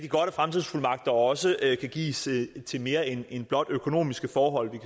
fremtidsfuldmagter også kan gives til mere end blot økonomiske forhold vi